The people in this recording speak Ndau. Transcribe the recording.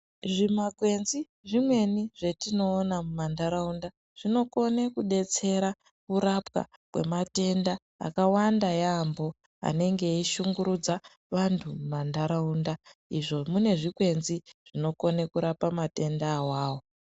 Zvima kwenzi zvimweni zvatinoona mumandaraunda zvinokone kudetsera kurapwa kwematenda akawanda yambo anenge eyishungurudza vantu mumandaraunda izvo mune zvikwenzi zvinokona kudetsera matenda awawo.